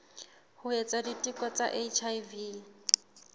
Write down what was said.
ho etsa diteko tsa hiv